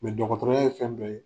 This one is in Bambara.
dɔgɔtɔrɔya ye fɛn dɔ ye